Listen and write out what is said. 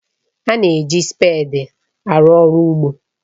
A na-eji spèdi arụ ọrụ ugbo